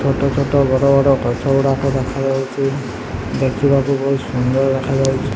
ଛୋଟ-ଛୋଟ ବଡ-ବଡ଼ ଗଛ ଗୁଡା ଦେଖାଯାଉଚି ଦେଖି ବାକୁ ବହୁତ ସୁନ୍ଦର ଲାଗୁଚି।